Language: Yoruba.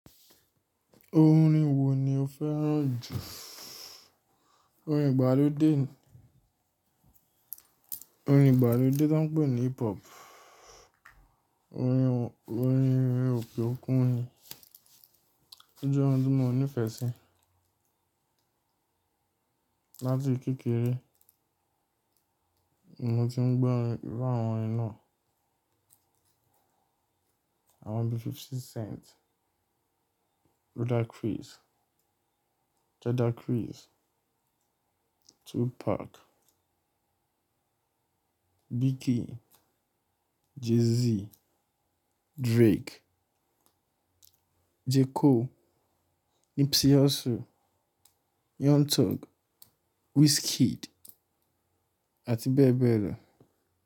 Orin wo ni o fẹ́ràn jù? Orin ìgbàlódé, orin ìgbàlódé tán pè ní hip hop, orin òkè òkun ni. Ó jẹ́ oun tí mo nífẹ̀ẹ́ sí. Látí kékeré mo ti ń gbọ́ orin, iru àwọn orin náà. Àwọn bí 50 Cent, Ludacris, Jada Chris, Tupac, Biggie, Jay Z, Drake, J. Cole, Nipsey Hussle, Young Thug, Wizkid àti bẹ́ẹ̀ bẹ́ẹ̀ lọ.